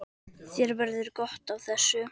Þér verður gott af þessu